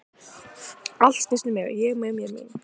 Allt snýst um Ég, mig, mér, mín.